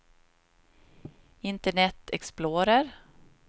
internet explorer